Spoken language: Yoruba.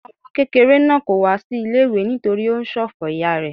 Ọmọ kékeré náà kò wá sí ilé-ìwé nítorí ó ń ṣòfò ìyá rẹ.